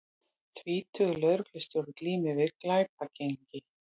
Tvítugur lögreglustjóri glímir við glæpagengi